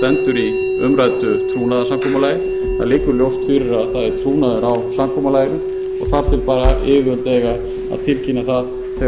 trúnaður á samkomulaginu og þar til bær yfirvöld eiga að tilkynna það þegar þeim þykir